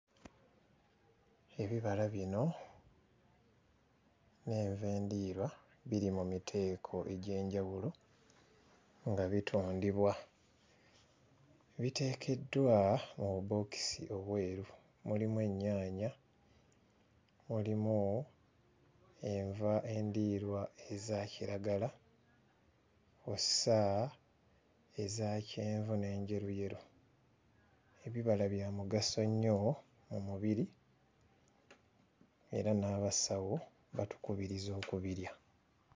Ebibala bino n'enva endiirwa biri mu miteeko egy'enjawulo nga bitundibwa biteekeddwa mu bubookisi obweru mulimu ennyaanya; mulimu enva endiirwa ezakiragala kw'ossa ezakyenvu n'enjeruyeru. Ebibala bya mugaso nnyo mu mubiri era n'abasawo batukubiriza okubirya.